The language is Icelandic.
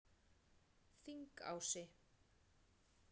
Þingási